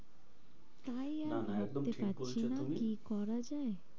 তাই না না একদম ঠিক আর বলছো ভাবতে তুমি। পারছি না কি করা যায়?